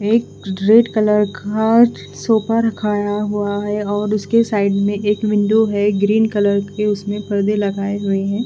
एक red colour खा sofa रखाया हुआ है और उसके साइड में एक विंडो है ग्रीन कलर के उसमें पर्दे लगाए हुए हैं।